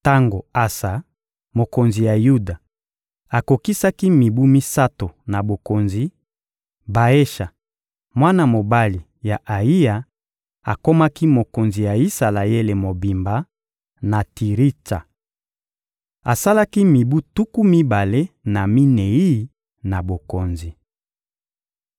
Tango Asa, mokonzi ya Yuda, akokisaki mibu misato na bokonzi, Baesha, mwana mobali ya Ayiya, akomaki mokonzi ya Isalaele mobimba, na Tiritsa. Asalaki mibu tuku mibale na minei na bokonzi.